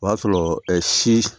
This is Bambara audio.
O y'a sɔrɔ si